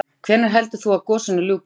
Karen: Hvenær heldur þú að gosinu ljúki?